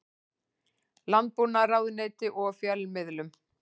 Landbúnaðarráðuneytinu og fjölmiðlum.